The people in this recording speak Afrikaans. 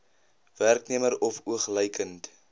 werknemer of oogluikend